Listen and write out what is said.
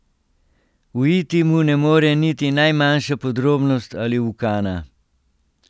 Uiti mu ne more niti najmanjša podrobnost ali ukana.